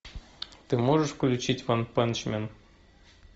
ты можешь включить ванпанчмен